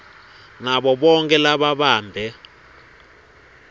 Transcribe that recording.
nabo bonkhe lababambe